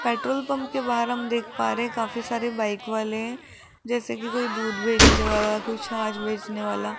Petrol pump के बाहर हम देख पा रहे हैं काफी सारे बाइक वाले हैं जैसे की कोई दूध बेचने वाला कोई छाछ बेचने वाला।